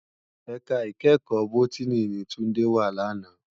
Èká ikèékò Bótìní ni Tunde wá làná